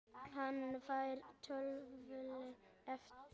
Hann fær tvöfalt eðli.